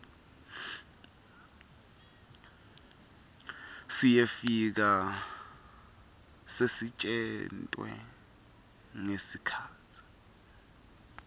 siyefika sisetjentwe ngesikhatsi